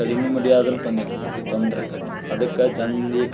ಕಡಿಮಿ ಮಡಿಯಾದ್ರು ತೊಂದಕ, ತೊಂದರಿ ಆಕ್ಕೆತಿ, ಅದಕ್ಕ ಜನ್ರಿಗೆ